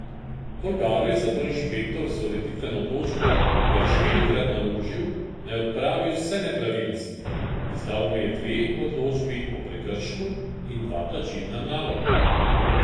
Bolgaru je zato inšpektor z ureditveno odločbo kar štirikrat naložil, naj odpravi vse nepravilnosti, izdal mu je dve odločbi o prekršku in dva plačilna naloga.